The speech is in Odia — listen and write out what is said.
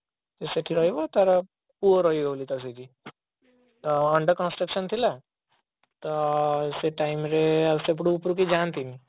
ସିଏ ସେଠି ରହିବ ତାର ପୁଅ ରହିବ ବୋଲି ସେଠି ତ under construction ଥିଲା ତ ସେଇ time ରେ ସେପଟକୁ ଉପରକୁ କେହି ଯାଆନ୍ତିନି